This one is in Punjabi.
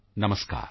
ਨਮਸਕਾਰ